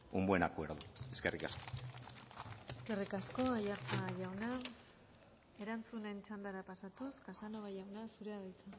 un buen acuerdo eskerrik asko eskerrik asko aiartza jauna erantzunen txandara pasatuz casanova jauna zurea da hitza